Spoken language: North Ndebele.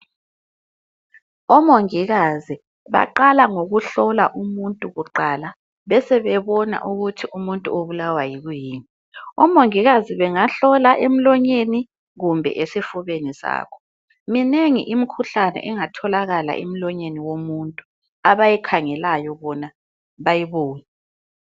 OMongikazi baqala ngokuhlola umuntu kuqala .Besebe bona ukuthi umuntu ubulawa yikuyini . OMongikazi bengahlola emlonyeni kumbe esifubeni sabo. Minengi imikhuhlane engatholakala emlonyeni womuntu abayikhangelayo bona bayibone.